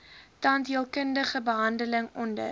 tandheelkundige behandeling onder